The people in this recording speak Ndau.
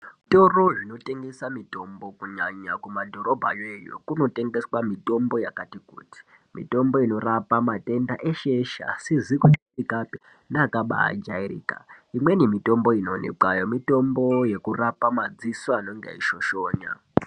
Zvitoro zvinotengesa mitombo kunyanya kumadhorobha yoyo kunotengeswa mitombo yakati kuti. Mitombo inorapa matenda eshe-eshe asizi kujairikapi neakabajairika. Imweni mitombo inoonekwayo mitombo yekurapa madziso anonge eishoshonya.